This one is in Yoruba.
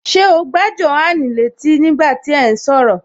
Ṣé o gbá Jòhánù létí ní gbà tí ẹ̀ ún sọ̀rọ̀?